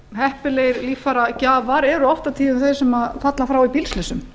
heppilegir líffæragjafar eru oft og tíðum þeir sem falla frá í bílslysum